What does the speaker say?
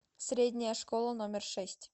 средняя школа номер шесть